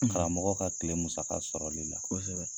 karamɔgɔ ka tile musaka sɔrɔli la. Kɔsɛbɛ.